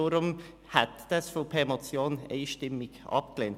Die SVP-Fraktion lehnt die Motion einstimmig ab.